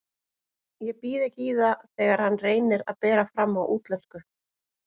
Ég býð ekki í það þegar hann reynir að bera fram á útlensku.